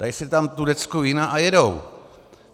Dají si tam tu decku vína a jedou.